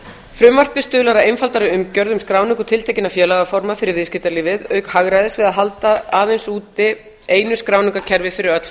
frumvarpið stuðlar að einfaldari umgjörð um skráningu tiltekinna félagaforma fyrir viðskiptalífið auk hagræðis við að halda aðeins úti einu skráningarkerfi fyrir öll